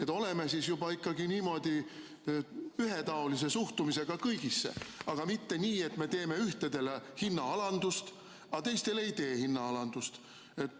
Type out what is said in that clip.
Suhtume siis juba niimoodi ühetaoliselt kõigisse, aga mitte nii, et ühtedele teeme hinnaalandust, aga teistele ei tee.